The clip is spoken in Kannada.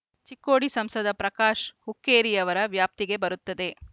ಚಿಕ್ಕೋಡಿ ಸಂಸದ ಪ್ರಕಾಶ್‌ ಹುಕ್ಕೇರಿಯವರ ವ್ಯಾಪ್ತಿಗೆ ಬರುತ್ತದೆ